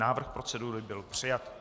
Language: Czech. Návrh procedury byl přijat.